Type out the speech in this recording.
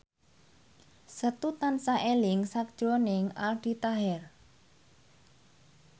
Setu tansah eling sakjroning Aldi Taher